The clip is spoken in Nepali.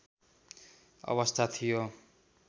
अवस्था थियो